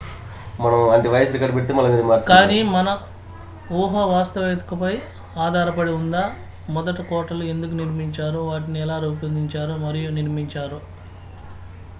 కానీ మన ఊహ వాస్తవికతపై ఆధారపడి ఉందా మొదట కోటలు ఎందుకు నిర్మించారు వాటిని ఎలా రూపొందించారు మరియు నిర్మించారు